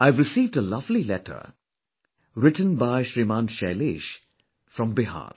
I have received a lovely letter, written by Shriman Shailesh from Bihar